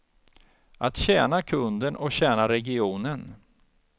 Att tjäna kunden och tjäna regionen.